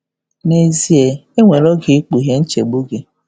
N'ezie, e um nwere oge 'ịkpughe' um nchegbu gị.